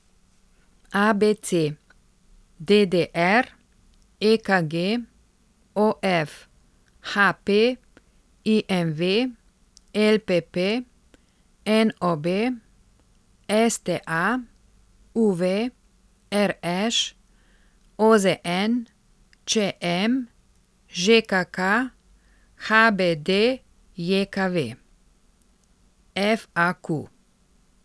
A B C; D D R; E K G; O F; H P; I M V; L P P; N O B; S T A; U V; R Š; O Z N; Č M; Ž K K; H B D J K V; F A Q.